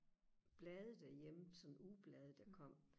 blade derhjemme sådan ugeblade der kom